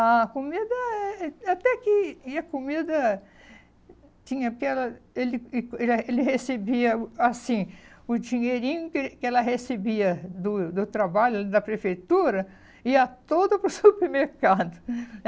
A comida é é até que ia a comida tinha aquela, ele ele é ele recebia o assim o dinheirinho que eh que ela recebia do do trabalho da prefeitura e ia todo para o supermercado.